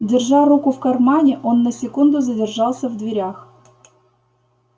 держа руку в кармане он на секунду задержался в дверях